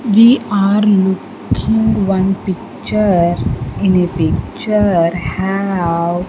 We are looking one picture in a picture have --